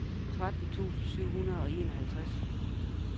tretten tusind syv hundrede og enoghalvtreds